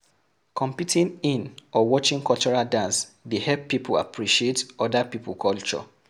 Competing in or watching cultural dance dey help pipo appreciate oda pipo culture